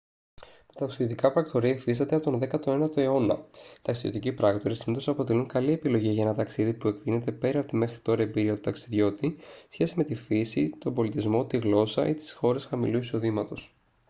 τα ταξιδιωτικά πρακτορεία υφίστανται από τον 19ο αιώνα οι ταξιδιωτικοί πράκτορες συνήθως αποτελούν καλή επιλογή για ένα ταξίδι που εκτείνεται πέρα από τη μέχρι τώρα εμπειρία του ταξιδιώτη σε σχέση με τη φύση τον πολιτισμό τη γλώσσα ή τις χώρες χαμηλού εισοδήματος